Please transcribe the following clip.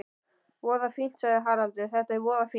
Voða fínt, sagði Haraldur, þetta er voða fínt.